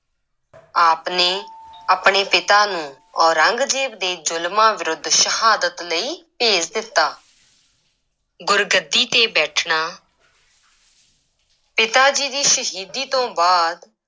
ਆਪ ਨੇ ਆਪਣੇ ਪਿਤਾ ਨੂੰ ਔਰੰਗਜ਼ੇਬ ਦੇ ਜ਼ੁਲਮਾਂ ਵਿਰੁੱਧ ਸ਼ਹਾਦਤ ਲਈ ਭੇਜ ਦਿੱਤਾ ਗੁਰਗੱਦੀ ਤੇ ਬੈਠਣਾ ਪਿਤਾ ਜੀ ਦੀ ਸ਼ਹੀਦੀ ਤੋਂ ਬਾਅਦ